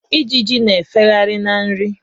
Ijiji na-efegharị na nri.